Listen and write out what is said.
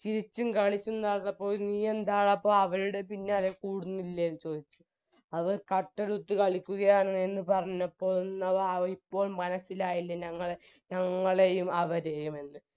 ചിരിച്ചും കളിച്ചും നടന്നപ്പോൾ നീയെന്താടാ അപ്പൊ അവരുടെ പിന്നാലെ കൂടുന്നില്ലെന്ന് ചോദിച്ചു അവർ കട്ടെടുത്ത് കളിക്കുകയാണ് എന്ന് പറഞ്ഞപ്പോൾ എന്നായിപ്പോ മനസ്സിലായില്ലേ ഞങ്ങളെയും അവരെയും എന്ന്